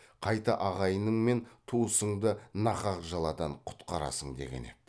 қайта ағайының мен туысыңды нақақ жаладан құтқарасың деген еді